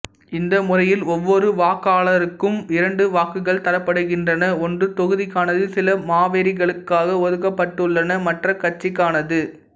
இந்த முறையில் ஒவ்வொரு வாக்காளருக்கும் இரண்டு வாக்குகள் தரப்படுகின்றன ஒன்று தொகுதிக்கானது சில மாவோரிகளுக்காக ஒதுக்கப்பட்டுள்ளன மற்றது கட்சிக்கானது